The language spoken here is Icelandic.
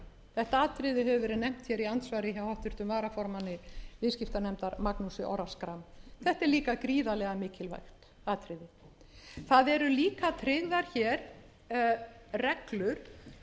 þetta atriði hefur verið nefnt hér í andsvari hjá háttvirtum varaformanni viðskiptanefndar magnúsi orra schram þetta er líka gríðarlega mikilvæg atriði það eru líka tryggðar hér reglur